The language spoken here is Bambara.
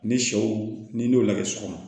Ni sɛw n'i y'o lagɛ sɔgɔma